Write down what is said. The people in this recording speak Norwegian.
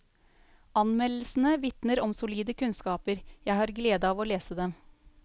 Anmeldelsene vitner om solide kunnskaper, jeg har glede av å lese dem.